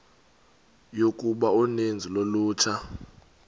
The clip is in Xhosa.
yokuba uninzi lolutsha